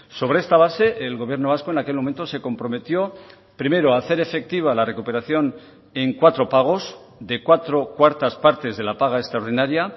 sobre esta base el gobierno vasco en aquel momento se comprometió primero a hacer efectiva la recuperación en cuatro pagos de cuatro cuartas partes de la paga extraordinaria